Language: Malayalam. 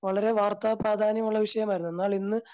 വളരെ വാർത്ത പ്രാധാന്യമുള്ള വിഷയമായിരുന്നു എന്നാൽ ഇന്ന്